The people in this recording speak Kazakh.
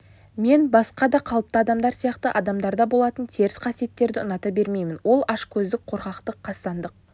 мен басқа да қалыпты адамдар сияқты адамдарда болатын теріс қасиеттерді ұната бермеймін ол ашкөздік қорқақтық қастандық